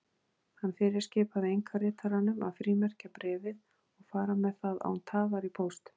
Hann fyrirskipaði einkaritaranum að frímerkja bréfið og fara með það án tafar í póst.